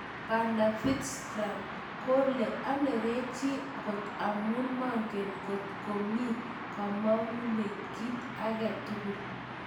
Bw.Fitzgerald Kole Anerechi kot amun mongen kot ko mi komongunet kit age tugul.